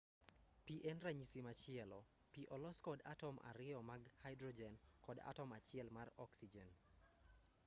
pi en ranyisi machielo pi olosi kod atom ariyo mag haidrojen kod atom achiel mar oksijen